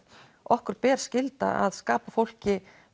okkur ber skylda að skapa fólki